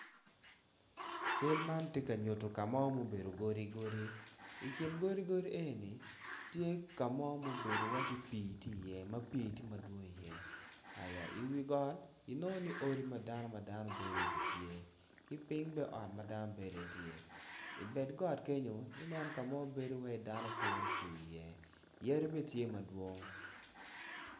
Cal man tye ka nyuto ka mo ma obedo godi godi i kin godi godi eni, tye ka mo ma obedo iwaci pii tye iye ma pii tye madwong iye aya iwi got inongo ni odi ma dano gibedo iye bene tye ki piny bene ot ma dano bedo iye bene tye ibad got kenyo ineno ka mo ma bedo iwaci dano puro pur iye yadi bene tye madwong.